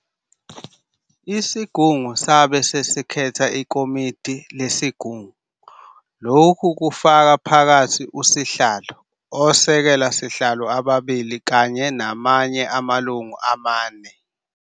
Isigungu sabe sesikhetha Ikomodi leSigungu - lokhu kufaka phakathi uSihlalo, Osekela sihlalo ababili kanye namanye amalungu amane.